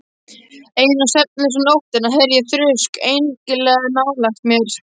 Eina svefnlausa nóttina heyrði ég þrusk einkennilega nálægt mér.